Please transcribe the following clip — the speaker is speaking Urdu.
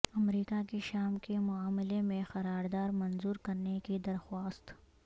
امریکہ کی شام کے معاملہ میں قرارداد منظور کرنے کی درخواست